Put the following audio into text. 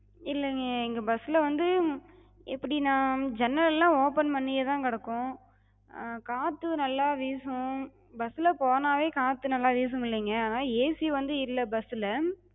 இல்லிங்க, எங்க bus ல வந்து எப்டினா, ஜன்னல்லா open பண்ணியேதாங்க இருக்கு. அஹ் காத்து நல்லா வீசு, bus லப் போனாவே காத்து நல்லா வீசுமில்லங்க, AC வந்து இல்ல bus ல.